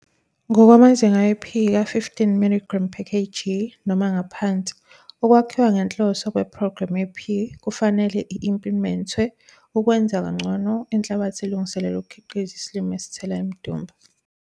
Ngokwamazinga e-P ka-15 mg per kg noma ngaphansi, ukwakhiwa ngenhloso kwephrogremu ye-P, kufanele i-implimentwe, ukwenza ngcono inhlabathi elungiselelwe ukukhiqiza isilimo esithela imidumba.